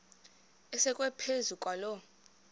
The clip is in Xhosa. asekwe phezu kwaloo